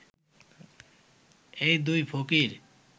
এই দুই ফকির